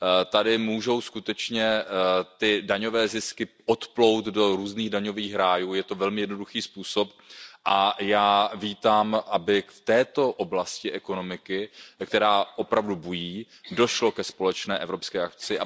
Tady můžou skutečně ty daňové zisky odplout do různých daňových rájů, je to velmi jednoduchý způsob a já vítám, aby v této oblasti ekonomiky, která opravdu bují, došlo ke společné evropské akci.